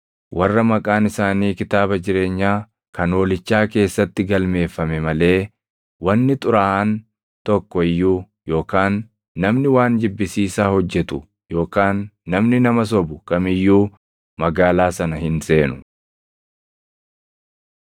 Warra maqaan isaanii kitaaba jireenyaa kan Hoolichaa keessatti galmeeffame malee wanni xuraaʼaan tokko iyyuu yookaan namni waan jibbisiisaa hojjetu yookaan namni nama sobu kam iyyuu magaalaa sana hin seenu.